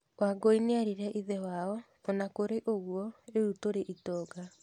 Wangũi eerire ithe wao, "O na kũrĩ ũguo, rĩu tũrĩ itonga".